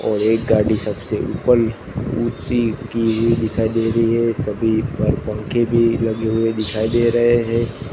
और एक गाड़ी सबसे उपल ऊंची की गई दिखाई दे रही है सभी पर पंखे भी लगे हुए दिखाई दे रहे हैं।